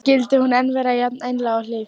Skyldi hún enn vera jafn einlæg og hlý?